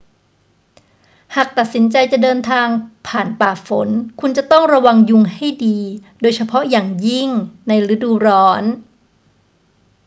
หากตัดสินใจจะเดินทางผ่านป่าฝน คุณจะต้องระวังยุงให้ดี โดยเฉพาะอย่างยิ่งในฤดูร้อน